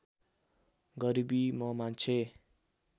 गरिबी म मान्छे